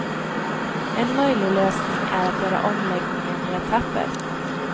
En möjlig lösning är att göra omläggningen i etapper.